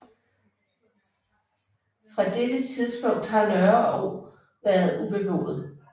Fra dette tidspunkt har Nørreog været ubeboet